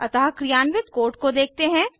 अतः कार्यान्वित कोड को देखते हैं